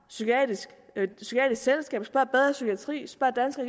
psykiatrisk selskab spørg bedre psykiatri spørg danske